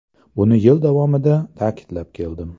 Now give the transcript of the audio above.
Buni yil davomida ta’kidlab keldim.